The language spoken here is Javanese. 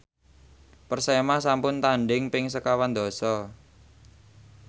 Persema sampun tandhing ping sekawan dasa